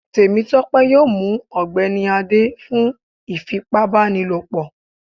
Temitope yọọ mú ọgbẹni Ade fún ifípábanílopo